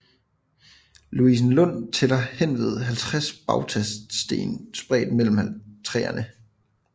Louisenlund tæller henved 50 bautasten spredt mellem træerne